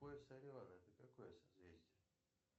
пояс ореола это какое созвездие